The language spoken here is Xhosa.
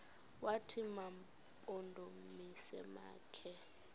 wathi mampondomise makhe